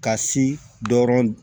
Ka si dɔrɔn